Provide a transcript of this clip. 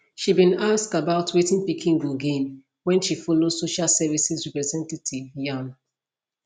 she bin ask about wetin pikin go gain wen she follow social services representative yarn